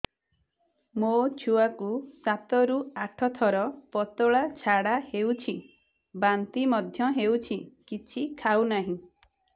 ମୋ ଛୁଆ କୁ ସାତ ରୁ ଆଠ ଥର ପତଳା ଝାଡା ହେଉଛି ବାନ୍ତି ମଧ୍ୟ୍ୟ ହେଉଛି କିଛି ଖାଉ ନାହିଁ